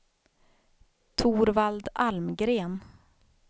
Torvald Almgren